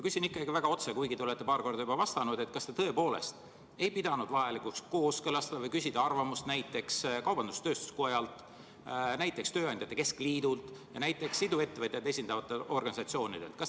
Küsin ikkagi väga otse, kuigi te olete paar korda juba vastanud: kas te tõepoolest ei pidanud vajalikuks seda kooskõlastada või küsida arvamust näiteks kaubandus-tööstuskojalt, tööandjate keskliidult ja näiteks iduettevõtjaid esindavatelt organisatsioonidelt?